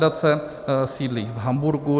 Nadace sídlí v Hamburgu.